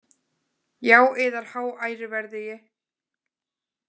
Já, yðar háæruverðugi